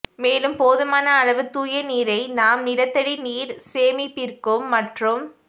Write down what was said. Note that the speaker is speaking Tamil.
மேலும் போதுமான அளவு தூய நீரை நாம் நிலத்தடி நீர் சேமிப்பிற்கும் மற்றும்